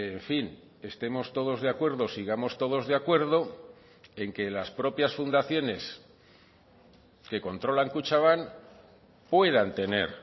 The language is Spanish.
en fin estemos todos de acuerdo sigamos todos de acuerdo en que las propias fundaciones que controlan kutxabank puedan tener